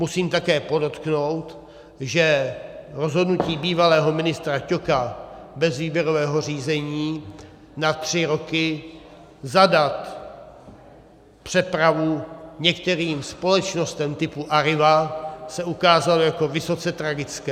Musím také podotknout, že rozhodnutí bývalého ministra Ťoka bez výběrového řízení na tři roky zadat přepravu některým společnostem typu Arriva se ukázalo jako vysoce tragické.